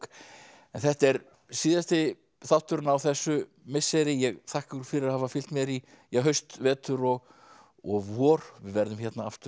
en þetta er síðasti þátturinn á þessu misseri ég þakka ykkur fyrir að hafa fylgt mér í haust vetur og og vor við verðum hérna aftur